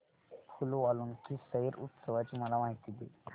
फूल वालों की सैर उत्सवाची मला माहिती दे